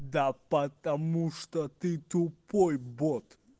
да потому что ты тупой бот